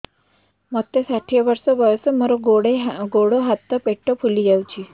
ମୋତେ ଷାଠିଏ ବର୍ଷ ବୟସ ମୋର ଗୋଡୋ ହାତ ପେଟ ଫୁଲି ଯାଉଛି